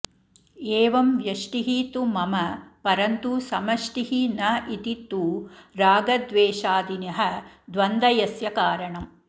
एवं व्यष्टिः तु मम परन्तु समष्टिः न इति तु रागद्वेषादिनः द्वन्दयस्य कारणम्